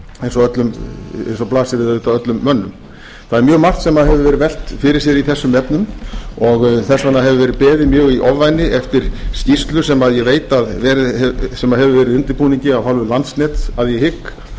eins og blasir við auðvitað öllum mönnum það er mjög margt sem hefur verið velt fyrir sér í þessum efnum og þess vegna hefur verið beðið mjög í ofvæni eftir skýrslu sem ég veit að hefur verið í undirbúningi af hálfu landsnets að ég hygg um afhendingaröryggi